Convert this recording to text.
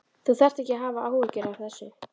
Þú þarft ekki að hafa áhyggjur af þessu.